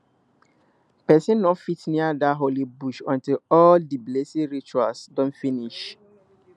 person no fit near dat holy bush until all di blessing rituals don finish